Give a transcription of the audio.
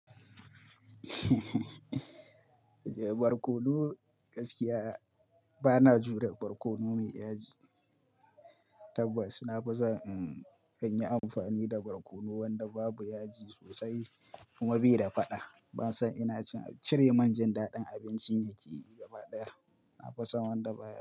Barkono gaskiya bana jure barkono me yaji. Tabbas na fi son inyi amfani da barkono wanda babu yaji sosai kuma bai da faɗa. Ban san ina cire manjan daɗin abinci ne ke yi gaba ɗaya, na fi son wanda baya yi.